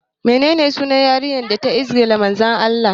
Menene sunan yarinya da ta izgila Manzon Allah?